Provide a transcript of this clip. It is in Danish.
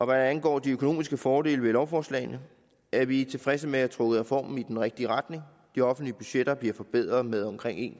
hvad angår de økonomiske fordele ved lovforslagene er vi tilfredse med at have trukket reformen i den rigtige retning de offentlige budgetter bliver forbedret med omkring en